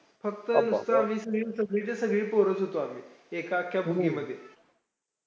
फक्त मित्र मैत्रीण सगळेच्या सगळे पोरंच होतो आम्ही, एका अख्या bogie मध्ये.